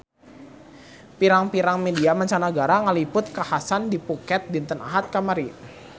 Pirang-pirang media mancanagara ngaliput kakhasan di Phuket dinten Ahad kamari